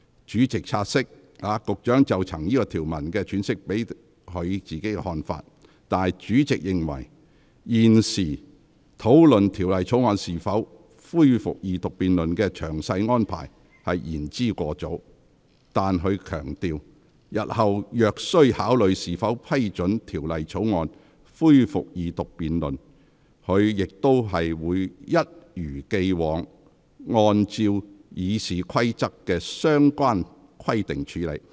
主席察悉，局長曾就該條文的詮釋表達其看法。主席認為，現時討論條例草案恢復二讀辯論的詳細安排，仍言之尚早，但他強調，日後若須考慮是否批准條例草案恢復二讀辯論，他定必一如既往，按照《議事規則》的相關規定處理。